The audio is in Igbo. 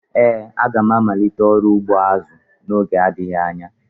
Ee, m ga-amalite ọrụ ugbo azu n'oge adịghị anya